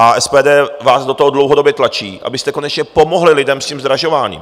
A SPD vás do toho dlouhodobě tlačí, abyste konečně pomohli lidem s tím zdražováním.